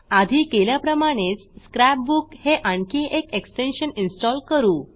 आधी केल्याप्रमाणेच scrap book हे आणखी एक एक्सटेन्शन इन्स्टॉल करू